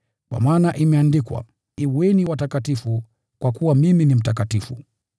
Kwa maana imeandikwa: “Kuweni watakatifu, kwa kuwa mimi ni mtakatifu.”